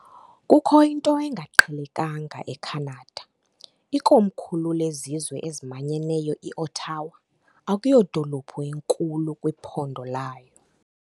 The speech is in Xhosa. Kukho into engaqhelekanga eCanada, ikomkhulu lezizwe ezimanyeneyo, iOttawa, akuyodolophu inkulu kwiphondo layo.